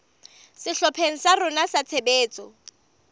sehlopheng sa rona sa tshebetso